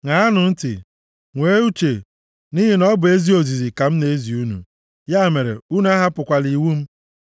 Ṅaanụ ntị, nwee uche, nʼihi na ọ bụ ezi ozizi ka m na-ezi unu; ya mere, unu ahapụkwala iwu m.